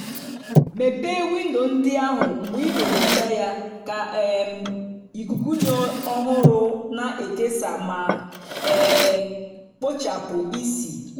mepee windo ndị ahụ mgbe ị na-ehicha ya ka um ikuku dị ọhụrụ na-ekesa ma um kpochapụ ísì.